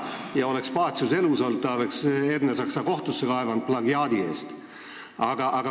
Ja kui Pacius oleks elus olnud, oleks ta Ernesaksa plagiaadi eest kohtusse kaevanud.